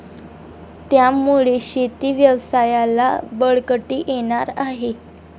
त्यामुळे शेती व्यवसायाला बळकटी येणार आहे.